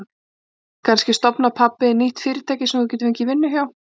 Kannski stofnar pabbi þinn nýtt fyrirtæki sem þú getur fengið vinnu hjá.